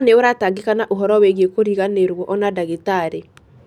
Koro nĩ ũratangĩka na ũhoro wĩgie kũriganĩro, ona ndagĩtarĩ.